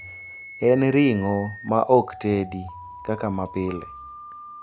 En ring`o ma ok tedi kaka mapile.